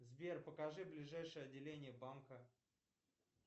сбер покажи ближайшее отделение банка